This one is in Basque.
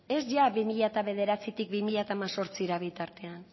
ez ia bi mila bederatzitik bi mila hemezortzira bitartean